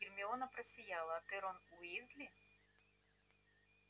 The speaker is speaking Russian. гермиона просияла а ты рон уизли